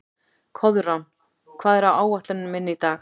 Koðrán, hvað er á áætluninni minni í dag?